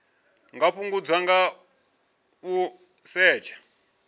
nga fhungudzwa nga u setsha